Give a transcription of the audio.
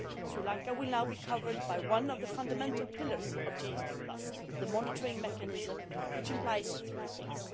Sri Lanka will now be covered by one of the fundamental pillars of GSP, the monitoring mechanism, which implies three things.